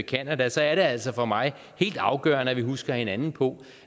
canada så er det altså for mig helt afgørende at vi husker hinanden på